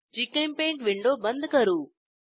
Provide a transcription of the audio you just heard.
GChemPaint window बंद करू